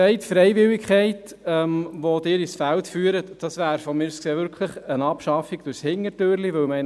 Die Freiwilligkeit, die Sie ins Feld führen, ist, wie gesagt, aus meiner Sicht eine Abschaffung durch die Hintertür.